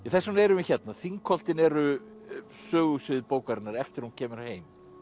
þess vegna erum við hérna Þingholtin eru sögusvið bókarinnar eftir að hún kemur heim